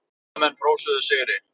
Bandamenn hrósuðu sigri.